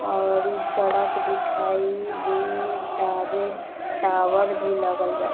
और इ सड़क दिखाई दे तावे टावर भी लगल बा |